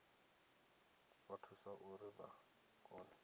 vha thusa uri vha kone